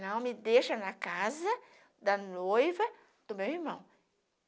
Então me deixam na casa da noiva do meu irmão.